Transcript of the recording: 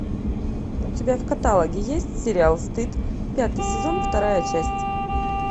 у тебя в каталоге есть сериал стыд пятый сезон вторая часть